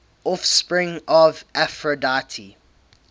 offspring of aphrodite